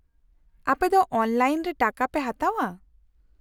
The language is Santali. -ᱟᱯᱮ ᱫᱚ ᱚᱱᱞᱟᱭᱤᱱ ᱨᱮ ᱴᱟᱠᱟ ᱯᱮ ᱦᱟᱛᱟᱣᱟ ?